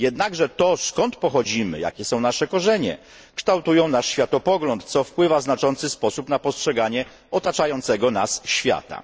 Jednakże to skąd pochodzimy, jakie są nasze korzenie, kształtuje nasz światopogląd, co wpływa w znaczący sposób na postrzeganie otaczającego nas świata.